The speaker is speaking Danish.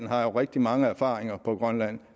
har rigtig mange erfaringer på grønland